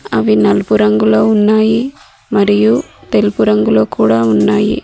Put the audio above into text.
అవి నలుపు రంగులో ఉన్నాయి మరియు తెలుపు రంగులో కూడా ఉన్నాయి.